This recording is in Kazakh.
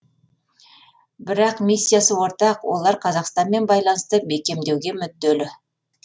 бірақ миссиясы ортақ олар қазақстанмен байланысты бекемдеуге мүдделі